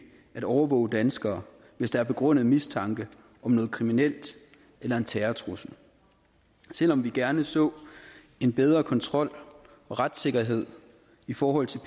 at overvåge danskere hvis der er begrundet mistanke om noget kriminelt eller en terrortrussel selv om vi gerne så en bedre kontrol og retssikkerhed i forhold til